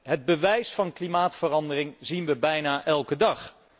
Het bewijs van klimaatverandering zien wij bijna elke dag.